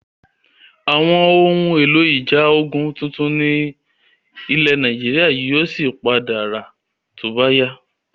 Àwọn ohun èlò ìjà ojú ogún tuntun ni ilẹ̀ Nàìjíríà yìí ó sì padà ra to bá yá.